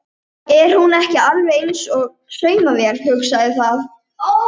Allt er það sem háborið hjóm.